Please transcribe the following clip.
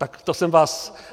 Tak to jsem vás...